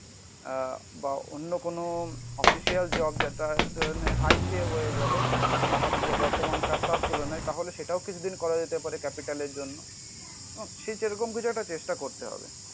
আহ বা অন্য কোন অফিসিয়াল জব যেটা হাইয়েস্ট এ হয়ে গেলো. আমার যা বর্তমান কাজটার তুলনায় তাহলে সেটাও কিছুদিন করা যেতে পারে ক্যাপিটাল এর জন্য. সে যেরকম কিছু একটা চেষ্টা করতে হবে.